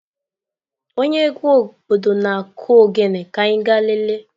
Onye egwu obodo na-kụ ogene ka anyi ga lelee.